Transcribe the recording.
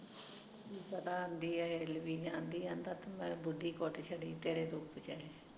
ਤੇ ਆਂਦੀ ਆ ਹਿੱਲਦੀ ਜਾਂਦੀ ਆ ਬੁਢੀ ਕੁਟ ਛੱਡੀ